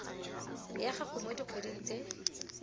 ya gago mo dikgweding tse